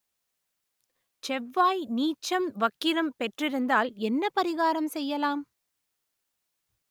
செவ்வாய் நீச்சம் வக்கிரம் பெற்றிருந்தால் என்ன பரிகாரம் செய்யலாம்